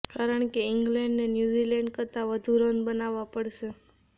કારણ કે ઈંગ્લેન્ડને ન્યૂઝીલેન્ડ કરતા વધુ રન બનાવવા પડશે